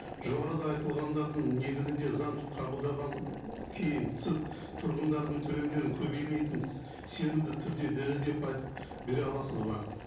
жоғарыда айтылғандардың негізінде заң кейін сіз тұрғындардың төлемдерін көбеймейтінін сенімді түрде дәлелдеп айтып бере аласыз ба